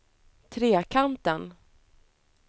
Trekanten